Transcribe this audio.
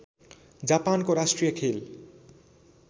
जापानको राष्ट्रिय खेल